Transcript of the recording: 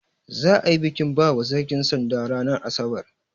Za'a yi bikin bawa sarki sanda ranar asabar.